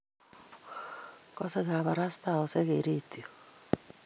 kosei kabarastaosiek eng' redioit